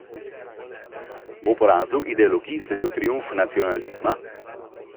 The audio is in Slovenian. Bo porazu ideologij sledil triumf nacionalizma?